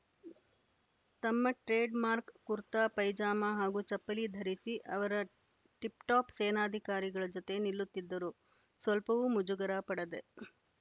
ತಮ್ಮ trade mark kurta pyjama ಹಾಗೂ ಚಪ್ಪಲಿ ಧರಿಸಿ ಅವರ ಟಿಪ್‌ಟಾಪ್‌ ಸೇನಾಧಿಕಾರಿಗಳ ಜತೆ ನಿಲ್ಲುತ್ತಿದ್ದರು ಸ್ವಲ್ಪವೂ ಮುಜುಗರ ಪಡದೆ